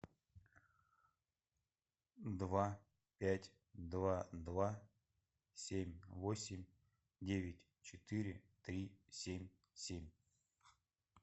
два пять два два семь восемь девять четыре три семь семь